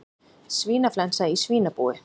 Svínaflensa í svínabúi